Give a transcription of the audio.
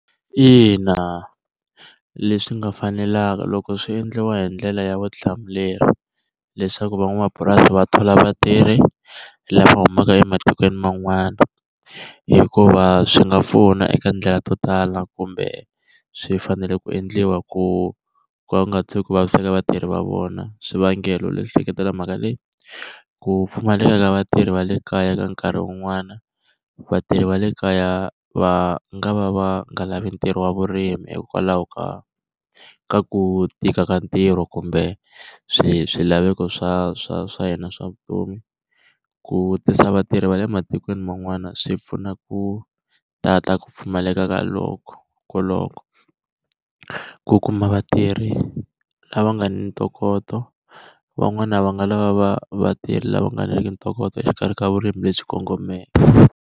Ina, leswi nga fanelanga loko swi endliwa hi ndlela ya vutihlamuleri, leswaku van'wamapurasi va thola vatirhi lava humaka ematikweni man'wana. Hikuva swi nga pfuna eka ndlela to tala kumbe swi fanele ku endliwa ku va ku nga tshuki ku vaviseka vatirhi va vona. Swivangelo leswi seketelaka mhaka leyi. Ku pfumaleka ka vatirhi va le kaya ka nkarhi wun'wana, vatirhi va le kaya va nga va va nga lavi ntirho wa vurimi hikwalaho ka ka ku tika ka ntirho, kumbe swilaveko swa swa swa hina swa vutomi. Ku tisa vatirhi va le ematikweni man'wana swi pfuna ku tata ku pfumaleka ka koloko, ku kuma vatirhi lava nga ni ntokoto, van'wana va nga lava vatirhi lava nga riki na ntokoto exikarhi ka vurimi lebyi kongomeke.